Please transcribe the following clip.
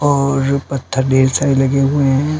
और पत्थर ठेर सारे लगे हुए हैं।